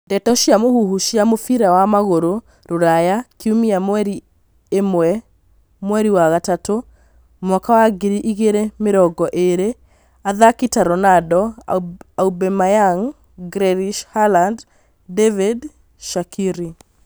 Ndeto cia mũhuhu cia mũbira wa magũrũ Rũraya kiumia mweri ĩmwe mweri wa gatatũ mwaka wa ngiri igĩrĩ mĩrongo ĩrĩ athaki ta Ronaldo, Aubameyang, Grealish Halaad, David, Shaqiri